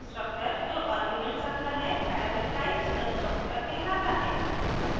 constructor जो arguments रखता है parameterized constructor कहलाता है